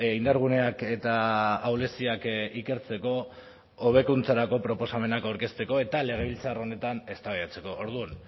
indarguneak eta ahuleziak ikertzeko hobekuntzarako proposamenak aurkezteko eta legebiltzar honetan eztabaidatzeko orduan